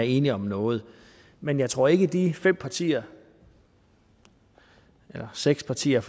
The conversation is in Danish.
enige om noget men jeg tror ikke at de fem partier eller seks partier